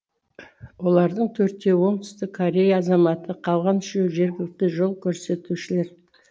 олардың төртеуі оңтүстік корея азаматы қалған үшеуі жергілікті жол көрсетушілер